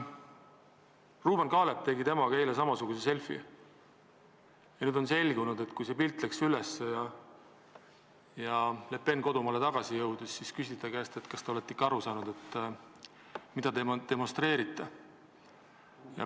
Ruuben Kaalep tegi temaga eile selfi, näidates samasugust käemärki, ja nüüd on selgunud, et kui Le Pen kodumaale tagasi jõudis, siis küsiti ta käest, kas ta on ikka aru saanud, mida ta demonstreerib.